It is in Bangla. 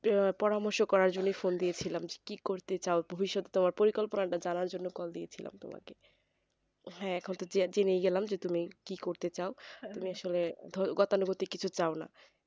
আহ পরামর্শ করার জন্যই ফোন দিয়েছিলাম কি করতে চাও ভবিৎষত তোমার পরিকল্পনাটা জানার জন্যই কল দিয়েছিলাম তোমাকে হ্যাঁ এখনত জেনেই গেলাম যে তুমি কি করতে চাও তুমি আসলে গতানুগতিক কিছু চাও না